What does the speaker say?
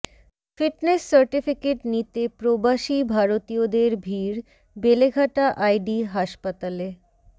fitness certificate নিতে প্রবাসী ভারতীয়দের ভিড় বেলেঘাটা আইডি হাসপাতালে